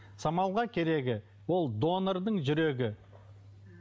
самалға керегі ол донордың жүрегі